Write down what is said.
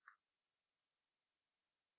আমরা কিছু ফাইলস বানাবো